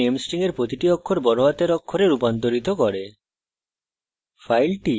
এই statement name string এর প্রতিটি অক্ষর বড় হাতের অক্ষরে রূপান্তরিত করে